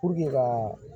ka